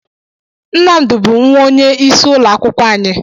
Nnamdi bụ nwa onye isi ụlọ akwụkwọ anyị.